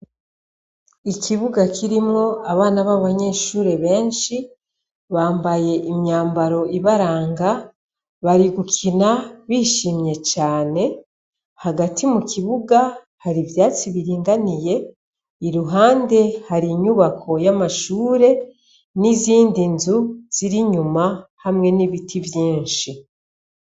Ikibuga kirimwo abana b'abanyeshure benshi bambaye imyambaro ibaranga bari gukina bishimye cane hagati mu kibuga hari ivyatsi biringaniye i ruhande hari inyubako y'amashure n'izindi nzu ziri nyuma hamwe n'ibiti vyinshi.